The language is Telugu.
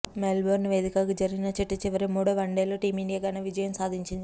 మెల్ బోర్న్ వేదికగా జరిగిన చిట్టచివరి మూడో వన్డేలో టీమిండియా ఘన విజయం సాధించింది